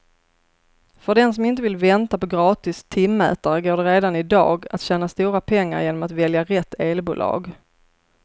För den som inte vill vänta på gratis timmätare går det redan i dag att tjäna stora pengar genom att välja rätt elbolag.